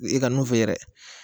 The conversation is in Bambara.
I ka n'u f'i ye dɛ